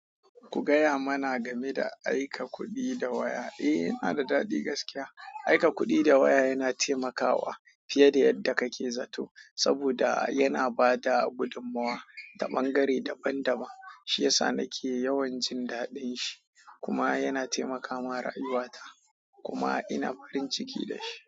Ku gaya mana game da aika kuɗi da waya. Eh, yana da daɗi gaskiya. Aika kuɗi da waya yana taimakawa fiye da yadda kake zato saboda yana ba da gudummawa ta ɓangare daban-daban. Shi ya sa nake yawan jin daɗin shi kuma yana taimaka mara aiwata kuma ina farin ciki da shi.